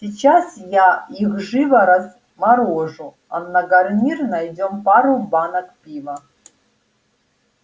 сейчас я их живо разморожу а на гарнир найдём пару банок пива